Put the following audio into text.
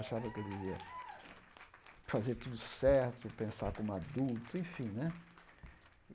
Achava que eu devia fazer tudo certo, pensar como adulto, enfim, né?